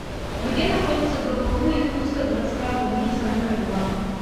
где находится гбу якутская городская больница номер два